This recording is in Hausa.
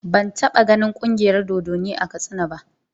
Ban taɓa ganin Ƙungiyar dodonni a Katsina ba.